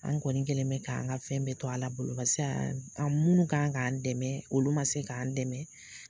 An kɔni kɛlen bɛ k'an ka fɛn bɛɛ to Ala bolo barisa minnu kan k'an dɛmɛ olu man se k'an dɛmɛ.